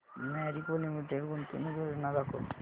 Marico limited गुंतवणूक योजना दाखव